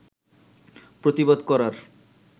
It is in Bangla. প্রতিবাদ করার